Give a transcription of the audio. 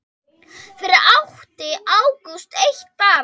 Fyrir átti Ágúst eitt barn.